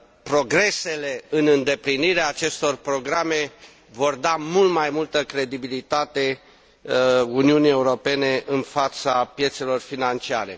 Progresele în îndeplinirea acestor programe vor da mult mai multă credibilitate Uniunii Europene în fața piețelor financiare.